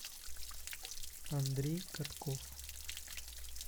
андрей катков